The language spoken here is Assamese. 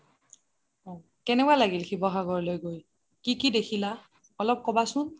অহ কেনেকোৱা লাগিল শিৱসাগৰলৈ গৈ কি কি দেখিলা অলপ কবাচোন